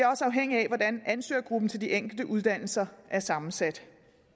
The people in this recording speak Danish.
afhængigt af hvordan ansøgergruppen til de enkelte uddannelser er sammensat